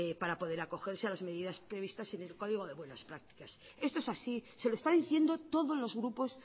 para poder acogerse a las medidas previstas en el código de buenas prácticas esto es así se lo está diciendo todos los grupos